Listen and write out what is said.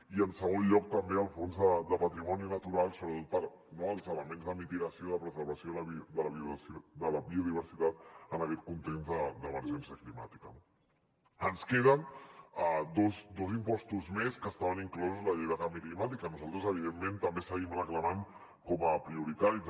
i en segon lloc també el fons de patrimoni natural sobretot els elements de mitigació i de preservació de la biodiversitat en aquest context d’emergència climàtica no ens queden dos impostos més que estaven inclosos en la llei de canvi climàtic que nosaltres evidentment també seguim reclamant com a prioritaris